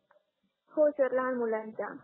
हो सर लहान मुलांचा